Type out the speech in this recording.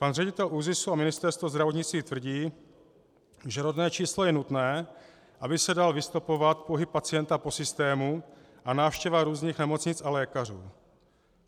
Pan ředitel ÚZIS a Ministerstvo zdravotnictví tvrdí, že rodné číslo je nutné, aby se dal vystopovat pohyb pacienta po systému a návštěva různých nemocnic a lékařů.